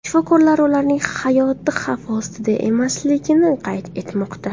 Shifokorlar ularning hayoti xavf ostida emasligini qayd etmoqda.